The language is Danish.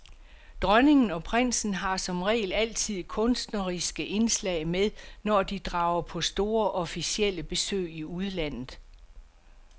Dronningen og prinsen har som regel altid kunstneriske indslag med, når de drager på store, officielle besøg i udlandet.